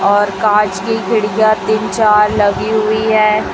और कांच की खिड़कियां तीन चार लगी हुई है।